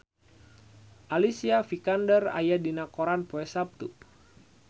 Alicia Vikander aya dina koran poe Saptu